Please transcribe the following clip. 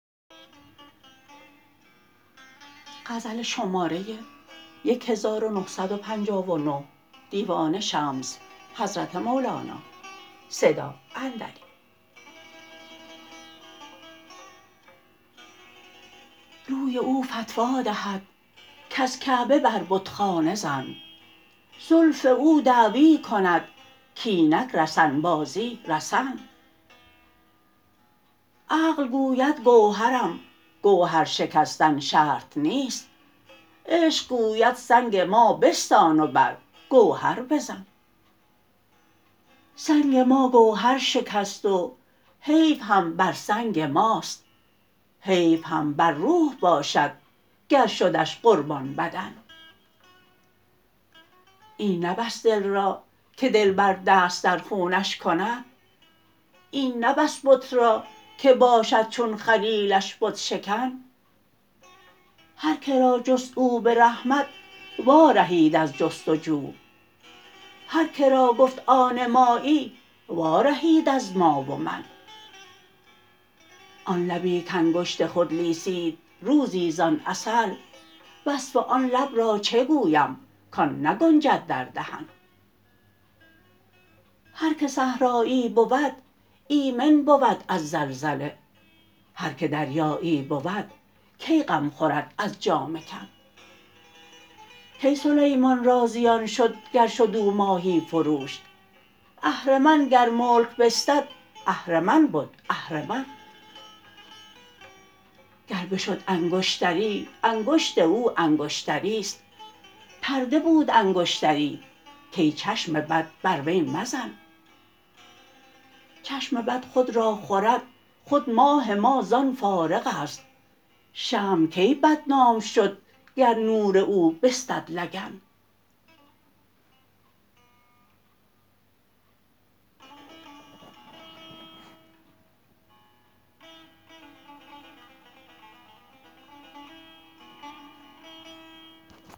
روی او فتوی دهد کز کعبه بر بتخانه زن زلف او دعوی کند کاینک رسن بازی رسن عقل گوید گوهرم گوهر شکستن شرط نیست عشق گوید سنگ ما بستان و بر گوهر بزن سنگ ما گوهر شکست و حیف هم بر سنگ ماست حیف هم بر روح باشد گر شدش قربان بدن این نه بس دل را که دلبر دست در خونش کند این نه بس بت را که باشد چون خلیلش بت شکن هر که را جست او به رحمت وارهید از جست و جو هر که را گفت آن مایی وارهید از ما و من آن لبی کانگشت خود لیسید روزی زان عسل وصف آن لب را چه گویم کان نگنجد در دهن هر که صحرایی بود ایمن بود از زلزله هر که دریایی بود کی غم خورد از جامه کن کی سلیمان را زیان شد گر شد او ماهی فروش اهرمن گر ملک بستد اهرمن بد اهرمن گر بشد انگشتری انگشت او انگشتری است پرده بود انگشتری کای چشم بد بر وی مزن چشم بد خود را خورد خود ماه ما زان فارغ است شمع کی بدنام شد گر نور او بستد لگن